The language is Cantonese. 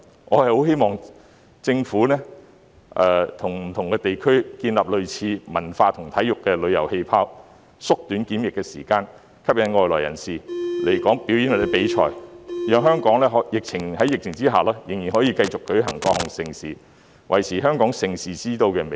我很希望政府會與不同地區建立類似的"文化和體育旅遊氣泡"，縮短檢疫時間，吸引外來人士來港表演或比賽，讓香港在疫情下仍然可以舉行各項盛事，維持香港盛事之都的美譽。